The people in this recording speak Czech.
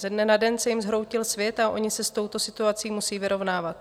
Ze dne na den se jim zhroutil svět a oni se s touto situací musí vyrovnávat.